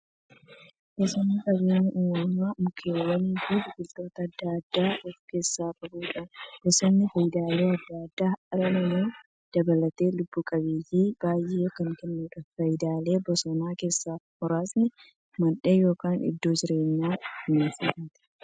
Bosonni qabeenya uumamaa mukkeewwaniifi biqiltoota adda addaa of keessaa qabudha. Bosonni faayidaalee adda addaa dhala namaa dabalatee lubbuu qabeeyyii baay'eef kan kennuudha. Faayidaalee bosonaa keessaa muraasni; Mandhee yookin iddoo jireenya bineensotaati.